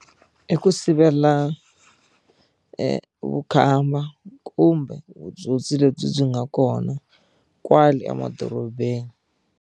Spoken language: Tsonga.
I ku sivela vukhamba kumbe vutsotsi lebyi byi nga kona kwale emadorobeni.